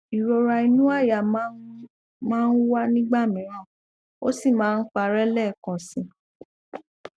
ìrora inú àyà máa ń máa ń wá nígbà mìíràn ó sì máa ń parẹ lẹẹkan síi